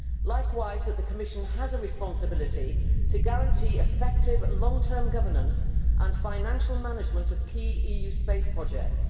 Likewise, the Commission has a responsibility to guarantee effective long term governance and financial management of key EU space projects.